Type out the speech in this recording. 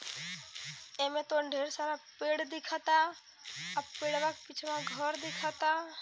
एमें तो ढेर सारा पेड़ दिखता और पेड़वा के पिछवा घर दिखता।